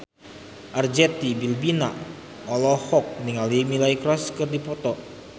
Arzetti Bilbina olohok ningali Miley Cyrus keur diwawancara